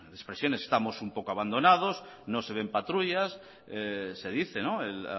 expresiones estamos un poco abandonados no se ven patrullas se dice el